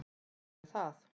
Takk fyrir það.